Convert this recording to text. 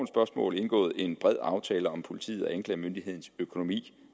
spørgsmål indgået en bred aftale om politiets og anklagemyndighedens økonomi